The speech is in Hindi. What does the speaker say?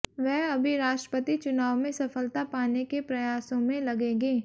वह अभी राष्ट्रपति चुनाव में सफलता पाने के प्रयासों में लगेंगे